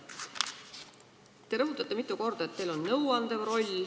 Te rõhutasite mitu korda, et teil on nõuandev roll.